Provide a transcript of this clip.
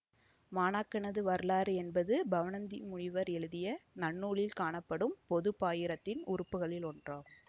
மாணாக்கனது வரலாறு என்பது பவணந்தி முனிவர் எழுதிய நன்னூலில் காணப்படும் பொது பாயிரத்தின் உறுப்புகளில் ஒன்றாகும்